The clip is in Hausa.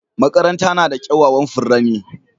Makaranta na da kyawawan furanni